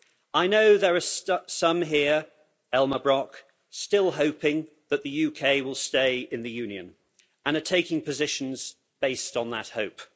I know there are some here Elmar Brok still hoping that the UK will stay in the Union and are taking positions based on that hope.